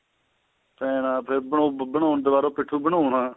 ਪੈਣਾ ਫੇਰ ਬਣਾਉਣ ਦੁਬਾਰਾ ਪਿਠੁ ਬਣਾਉਣਾ